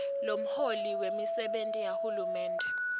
lomholi wemisebenti yahulumende